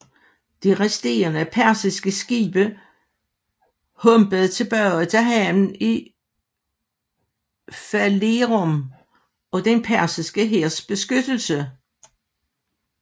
De resterende persiske skibe humpede tilbage til havnen i Phalerum og den persiske hærs beskyttelse